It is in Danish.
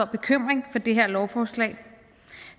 bekymring for det her lovforslag